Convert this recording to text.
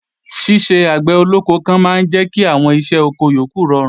Ṣíṣe àgbẹ̀ olóko kan máa ń jẹ́ kí àwọn iṣẹ́ oko yókù rọrùn